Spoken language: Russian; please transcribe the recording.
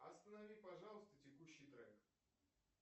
останови пожалуйста текущий трек